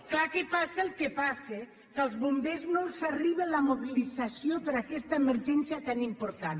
clar que passa el que passa que als bombers no els arriba la mobilització per aquesta emergència tan important